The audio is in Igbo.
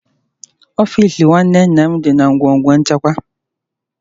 Ọfịs nwanne nna m dị na ngọngọ nchịkwa